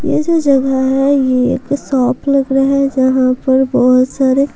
यह जो जगह है यह एक शॉप लग रहा है जहां पर बहुत सारे--